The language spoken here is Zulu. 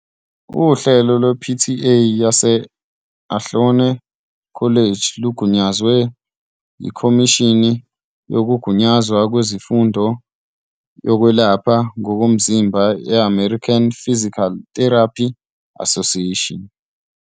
Uhlelo lwe-PTA yase-Ohlone College lugunyazwe yiKhomishini Yokugunyazwa Kwezemfundo Yokwelapha Ngomzimba ye- American Physical Therapy Association.